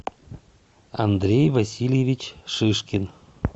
андрей васильевич шишкин